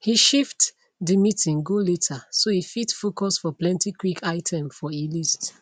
he shifte de meeting go later so e fit foucus for plenty quick item for e list